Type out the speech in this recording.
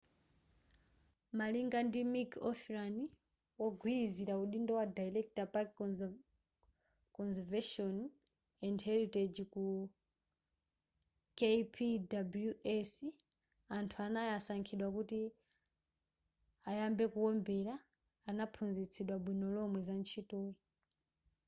malinga ndi a mick o'flynn wogwilizila udindo wa director park conservation and heritage ku kpws anthu anayi osankhidwa kuti ayambe kuombela anaphunzitsidwa bwino lomwe za ntchitoyi